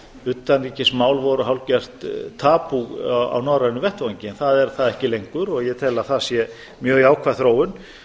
utanríkismál voru hálfgert tabú á norrænum vettvangi en það er það ekki lengur og ég tel að það sé mjög jákvæð þróun